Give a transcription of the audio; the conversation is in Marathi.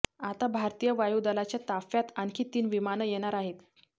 आता भारतीय वायुदलाच्या ताफ्यात आणखी तीन विमानं येणार आहेत